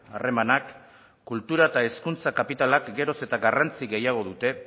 harremanak kultura eta hezkuntza kapitalak geroz eta garrantzi gehiago dute